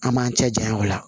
An m'an cɛ janya o la